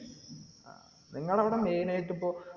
നിങ്ങളവിടെ main ആയിട്ട് ഇപ്പോ